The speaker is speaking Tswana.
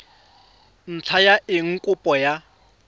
ntlha ya eng kopo ya